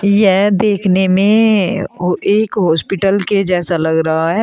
यह देखने में हा एक हॉस्पिटल के जैसा लग रहा है।